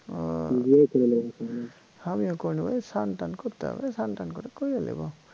ও হামিও করি নি ওই স্নান টান করতে হবে স্নান টান করে করে লিব